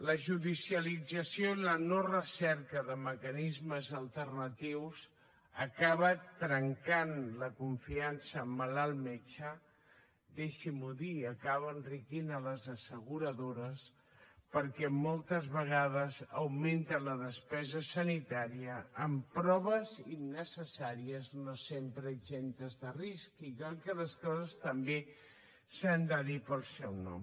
la judicialització i la no recerca de mecanismes alternatius acaba trencant la confiança malalt metge deixin m’ho dir acaba enriquint les asseguradores perquè moltes vegades augmenta la despesa sanitària amb proves innecessàries no sempre exemptes de risc i crec que les coses també s’han de dir pel seu nom